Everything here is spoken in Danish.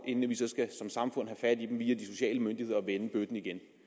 inden vi så som samfund skal have fat i dem via de sociale myndigheder og vendt bøtten igen